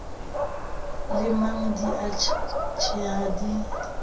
lemang di a tjheha di